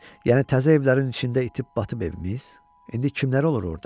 Yəni təzə evlərin içində itib-batıb evimiz, indi kimləri olur orda?